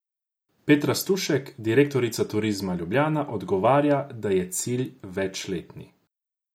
Petra Stušek, direktorica Turizma Ljubljana, odgovarja, da je cilj večletni.